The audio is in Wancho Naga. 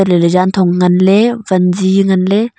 ley ley janthong ngan ley wanzi ngan ley.